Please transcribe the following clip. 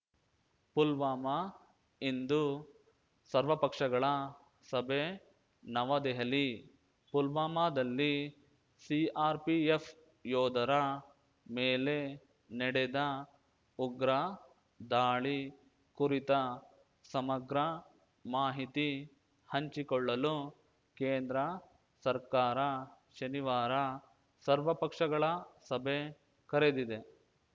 ಪುಲ್ವಾಮಾ ಇಂದು ಸರ್ವಪಕ್ಷಗಳ ಸಭೆ ನವದೆಹಲಿ ಪುಲ್ವಾಮಾದಲ್ಲಿ ಸಿಆರ್‌ಪಿಎಫ್‌ ಯೋಧರ ಮೇಲೆ ನೆಡೆದ ಉಗ್ರ ದಾಳಿ ಕುರಿತ ಸಮಗ್ರ ಮಾಹಿತಿ ಹಂಚಿಕೊಳ್ಳಲು ಕೇಂದ್ರ ಸರ್ಕಾರ ಶನಿವಾರ ಸರ್ವಪಕ್ಷಗಳ ಸಭೆ ಕರೆದಿದೆ